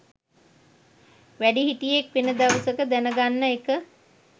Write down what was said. වැඩිහිටියෙක් වෙන දවස දැන ගන්න එක